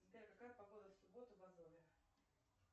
сбер какая погода в субботу в азове